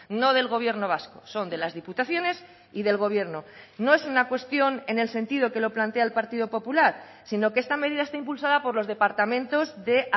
no del gobierno vasco son de las diputaciones y del gobierno no es una cuestión en el sentido que lo plantea el partido popular sino que esta medida está impulsada por los departamentos de